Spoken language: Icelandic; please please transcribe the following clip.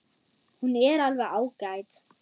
Hún er alveg ágæt.